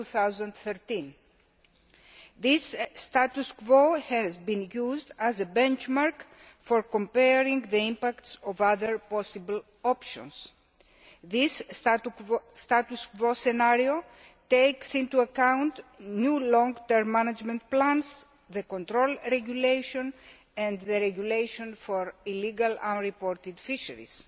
2013. This status quo has been used as a benchmark for comparing the impact of other possible options. This status quo scenario takes into account new long term management plans, the Control Regulation and the Regulation on illegal, unreported fisheries.